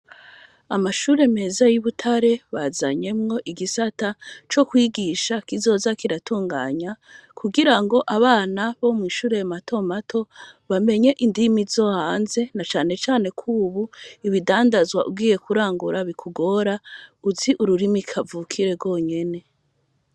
Amashure meza y'ubutare bazanye igisata co kwigisha kizoza kiratunganya kugira ngo abo bana bo mu mashure matomato bamenye ururimi rwo hanze na cane cane kubu ibidandazwa ugiye kurangura ko bikugora uzi ururimi kavukire rwonyene.